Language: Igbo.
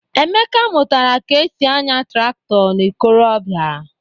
Emeka mụtara ka e si anya traktọ n'ikorobịa.